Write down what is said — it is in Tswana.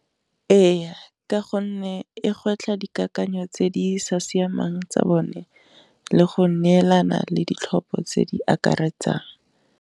E ya ka gonne e gwetlha dikakanyo tse di sa siamang tsa bone, le go neelana le ditlhopho tse di akaretsang.